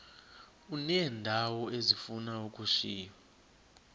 uneendawo ezifuna ukushiywa